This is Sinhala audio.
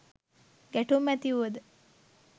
ගැටුම් ඇති වුවද